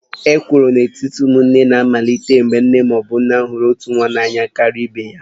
Ekworo n'etiti ụmụnne na-amalite mgbe nna ma ọ bụ nne hụrụ otu nwa n'anya karịa ibe ya